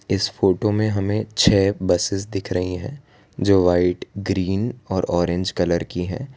इस फोटो में हमें छह बसेस दिख रही है जो वाइट ग्रीन और ऑरेंज कलर की है।